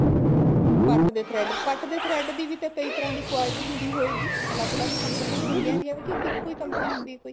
ਪੱਟ ਦੇ thread ਪੱਟ ਦੇ thread ਦੀ ਵੀ ਕਈ ਤਰ੍ਹਾਂ ਦੀ quality ਹੁੰਦੀ ਹੋਏਗੀ ਅਲੱਗ ਅਲੱਗ ਕੰਪਨੀਆਂ ਹੋਣਗੀਆਂ ਇਹਦੀਆਂ ਕੇ ਇੱਕੋ ਹੀ ਕੰਪਨੀ ਹੁੰਦੀ ਆ ਕੋਈ